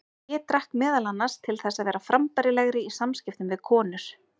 Ég drakk meðal annars til þess að vera frambærilegri í samskiptum við konur.